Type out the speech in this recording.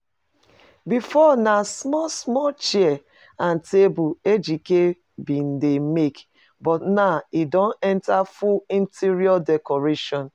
Before na small small chair and table Ejike bin dey make but now e don enter full interior decoration